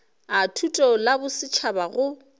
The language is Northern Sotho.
a thuto la bosetšhaba go